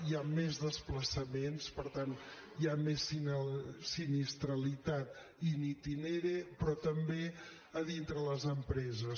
hi ha més desplaçaments per tant hi ha més sinistralitat in itinere però també a dintre les empreses